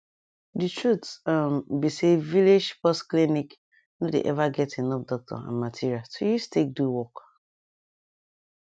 di truth um be say village pause clinic nor dey ever get enough doctor and material to use take do work